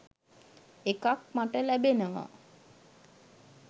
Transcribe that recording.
එකක් මට ලැබෙනවා